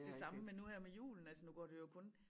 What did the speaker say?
Det samme med nu her med julen altså nu går det jo kun